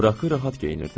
Fraki rahat geyinirdi.